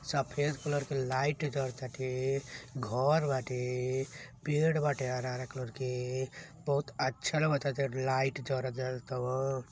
सफेद कलर के लाइट जड़ ताटे घर बाटे पेड़ बाटे हरा-हरा कलर के बहुत अच्छा लाग ताटे लाइट जड़त-जड़त तौवन --